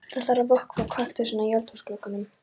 Það þarf að vökva kaktusana í eldhúsglugganum.